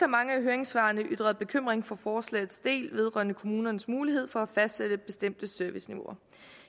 mange af høringssvarene er ytret bekymring for forslagets del vedrørende kommunernes mulighed for at fastsætte bestemte serviceniveauer